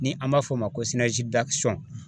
Ni an b'a f'o ma ko